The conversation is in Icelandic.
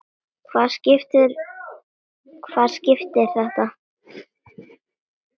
Hvaða skip er þetta?